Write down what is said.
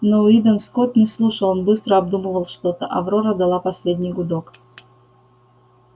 но уидон скотт не слушал он быстро обдумывал что то аврора дала последний гудок